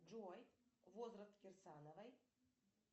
джой возраст кирсановой